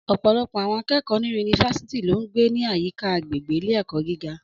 Ọ̀pọ̀lọpọ̀ àwọn akẹ́kọ̀ọ́ ní yunifásítì ló ń gbé ní àyíká agbègbè ilé-ẹ̀kọ́ gíga.